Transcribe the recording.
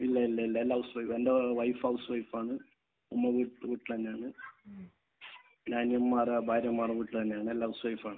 ഇല്ല. ഇല്ല. എല്ലാ സ്ത്രീ എന്റെ വൈഫ് ഹൗസ് വൈഫ് ആണ്. ഉമ്മ വീ വീട്ടിൽ തന്നെയാണ്. പിന്നെ അനിയന്മാരുടെ ഭാര്യമാർ വീട്ടിൽ തന്നെയാണ്. എല്ലാവരും ഹൗസ് വൈഫ് ആണ്.